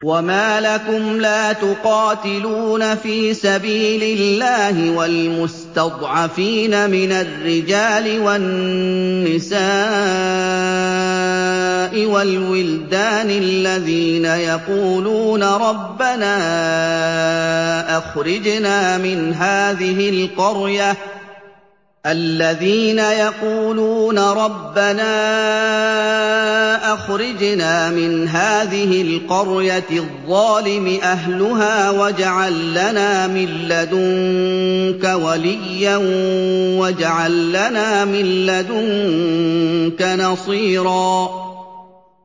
وَمَا لَكُمْ لَا تُقَاتِلُونَ فِي سَبِيلِ اللَّهِ وَالْمُسْتَضْعَفِينَ مِنَ الرِّجَالِ وَالنِّسَاءِ وَالْوِلْدَانِ الَّذِينَ يَقُولُونَ رَبَّنَا أَخْرِجْنَا مِنْ هَٰذِهِ الْقَرْيَةِ الظَّالِمِ أَهْلُهَا وَاجْعَل لَّنَا مِن لَّدُنكَ وَلِيًّا وَاجْعَل لَّنَا مِن لَّدُنكَ نَصِيرًا